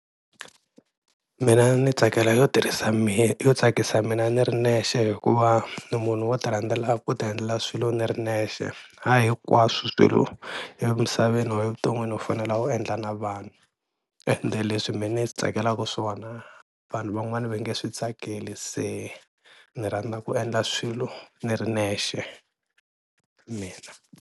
Mina ni tsakela yo tirhisa yo tsakisa mina ni ri nexe hikuva ni munhu wo ti rhandzela ku ti endlela swilo ni ri nexe ha hinkwaswo swilo emisaveni or evuton'wini u fanela u endla na vanhu, ende leswi mina ni swi tsakelaka swona vanhu van'wani va nge switsakeli se ni rhandza ku endla swilo ni ri nexe mina.